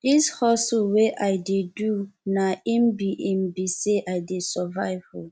dis hustle wey i dey do na im be im be sey i dey survive o